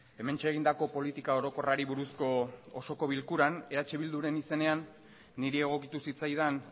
hementxe egindako politika orokorrari buruzko osoko bilkuran eh bilduren izenean niri egokitu zitzaidan